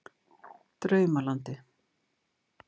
Draumalandi